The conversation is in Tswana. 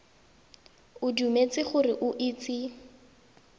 o dumetse gore o itse